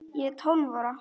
Ég er tólf ára.